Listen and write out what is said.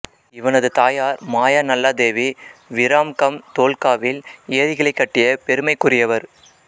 இவனது தாயார் மாயாநல்லாதேவி விராம்கம் தோல்காவில் ஏரிகளைக் கட்டிய பெருமைக்குரியவர்